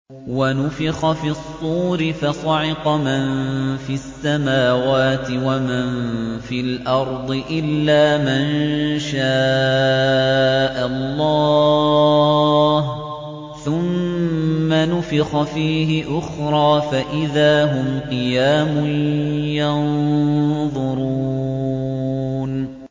وَنُفِخَ فِي الصُّورِ فَصَعِقَ مَن فِي السَّمَاوَاتِ وَمَن فِي الْأَرْضِ إِلَّا مَن شَاءَ اللَّهُ ۖ ثُمَّ نُفِخَ فِيهِ أُخْرَىٰ فَإِذَا هُمْ قِيَامٌ يَنظُرُونَ